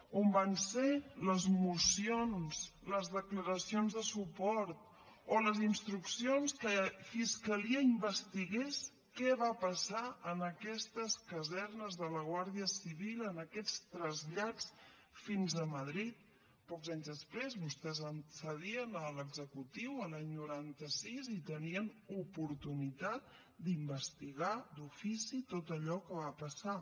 on van ser les mocions les declaracions de suport o les instruccions que fiscalia investigués què va passar en aquestes casernes de la guàrdia civil en aquests trasllats fins a madrid pocs anys després vostès accedien a l’executiu a l’any noranta sis i tenien oportunitat d’investigar d’ofici tot allò que va passar